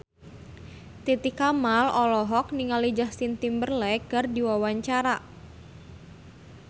Titi Kamal olohok ningali Justin Timberlake keur diwawancara